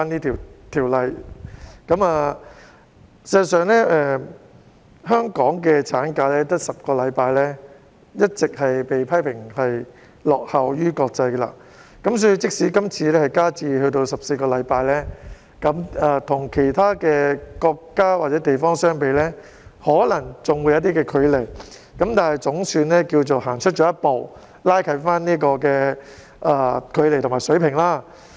事實上，香港的產假只有10周，一直也被批評說是落後於國際，所以即使今次修訂增加至14周，與其他國家或地方相比可能仍有些距離，但總算踏出了一步，拉近了距離和水平。